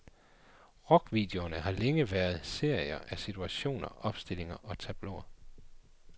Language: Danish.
Rockvideoerne har længe været serier af situationer, opstillinger, tableauer.